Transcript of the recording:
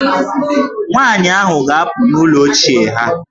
Nwaanyị ahụ ga-apụ n'ụlọ ochie ha.